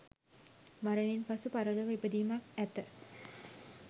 මරණින් පසු පරලොව ඉපදීමක් ඇත.